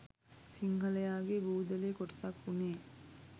සිංහලයගේ බූදලේ කොටසක් වුනේ